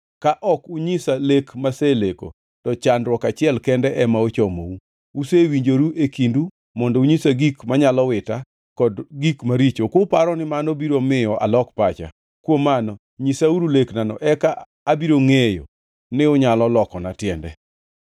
Ka ok unyisa lek maseleko, to chandruok achiel kende ema ochomou. Usewinjoru e kindu mondo unyisa gik manyalo wita kod gik maricho, kuparo ni mano biro miyo alok pacha. Kuom mano, nyisauru leknano, eka abiro ngʼeyo ni unyalo lokona tiende.”